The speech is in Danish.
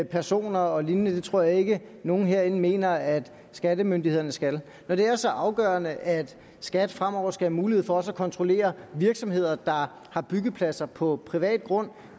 personer og lignende det tror jeg ikke at nogen herinde mener at skattemyndighederne skal når det er så afgørende at skat fremover skal have mulighed for også at kontrollere virksomheder der har byggepladser på privat grund